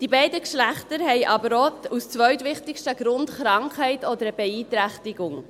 Bei beiden Geschlechtern ist der zweitwichtigste Grund, aber auch Krankheit oder eine Beeinträchtigung.